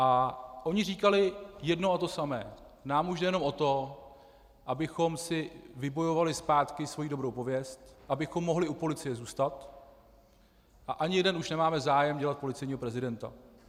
A oni říkali jedno a to samé: Nám už jde jenom o to, abychom si vybojovali zpátky svoji dobrou pověst, abychom mohli u policie zůstat, a ani jeden už nemáme zájem dělat policejního prezidenta.